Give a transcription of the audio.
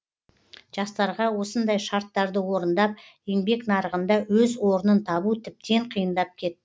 жастарға осындай шарттарды орындап еңбек нарығында өз орнын табу тіптен қиындап кетті